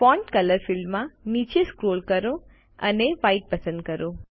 font colour ફીલ્ડમાં નીચે scroll કરો અને વ્હાઇટ પસંદ કરો